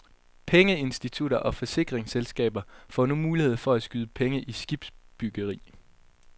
Pengeinstitutter og forsikringsselskaber får nu mulighed for at skyde penge i skibsbyggeri.